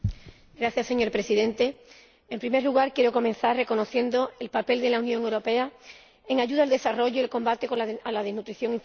Señor Presidente, en primer lugar quiero comenzar reconociendo el papel de la Unión Europea en la ayuda al desarrollo y el combate contra la malnutrición infantil.